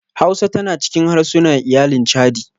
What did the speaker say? Hausa tana cikin harsuna iyalin chadi.